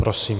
Prosím.